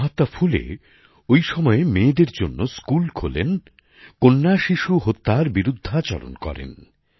মহাত্মা ফুলে ওই সময়ে মেয়েদের জন্য স্কুল খোলেন কন্যা শিশু হত্যার বিরুদ্ধাচরণ করেন